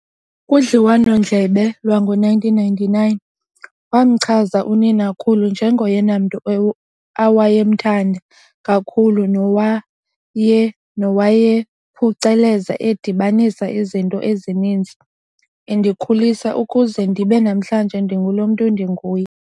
Kudliwano-ndlebe lwango1999, wamchaza uninakhulu nje"ngoyena mntu awayemthanda kakhulu" nowaye "nowayephuceleza edibanisa izinto ezininzi endikhulisa ukuze ndibe namhlanje ndingulo mntu ndinguye."